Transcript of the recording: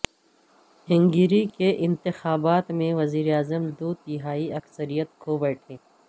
hungry کے انتخابات میں وزیراعظم دو تہائی اکثریت کھو بیٹھے